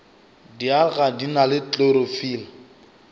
dialga di na le klorofile